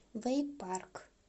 вэйпарк